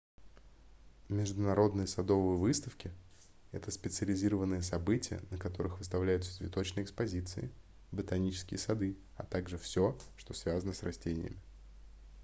международные садовые выставки это специализированные события на которых выставляются цветочные экспозиции ботанические сады а также всё что связано с растениями